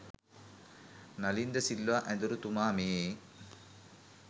නලීන්ද සිල්වා ඇදුරු තුමා මේ